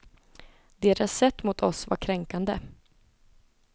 Deras sätt mot oss var kränkande.